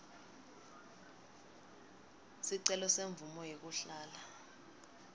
sicelo semvumo yekuhlala